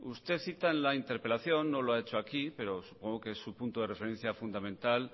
usted cita en la interpelación no lo ha hecho aquí pero supongo que es su punto de referencia fundamental